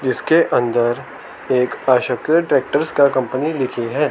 जिसके अंदर एक ट्रैक्टर्स का कंपनी लिखी है।